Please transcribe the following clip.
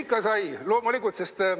Ikka sai, loomulikult, sest ...